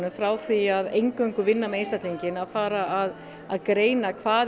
frá því að eingöngu vinna með einstaklinginn að fara að að greina hvað